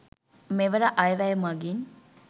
මෙවර අය වැය මගින්